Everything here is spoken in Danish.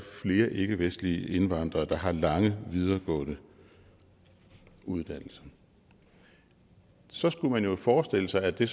flere ikkevestlige indvandrere der har lange videregående uddannelser så skulle man jo forestille sig at det